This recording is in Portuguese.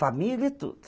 Família e tudo.